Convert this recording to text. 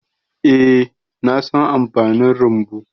Eh, na san amfanin rumbu.